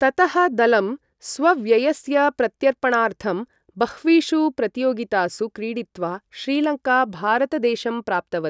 ततः दलं, स्वव्ययस्य प्रत्यर्पणार्थम् बह्वीषु प्रतियोगितासु क्रीडित्वा, श्रीलङ्का भारत देशं प्राप्तवत्।